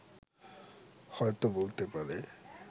হয়ত বলতে পারে